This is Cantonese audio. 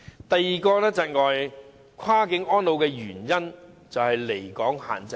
第二個窒礙跨境安老的原因是離港限制。